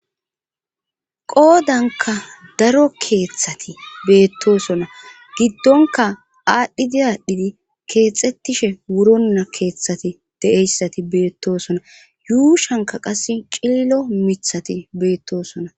Qoodanka daro keeththati beettosona giddonka aadhdhidiyaadhdhidi keexxettishe wuronna keeththati de7eyssati beettosona yuushanka qas cillo mithati beettoosona